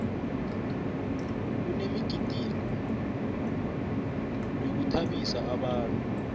kunemigidingo yokuthabisa abantu